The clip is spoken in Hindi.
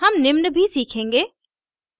हम निम्न भी सीखेंगे